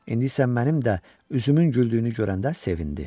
İndi isə mənim də üzümün güldüyünü görəndə sevindi.